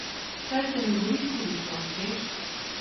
Saj se ne bori s sulico, veš.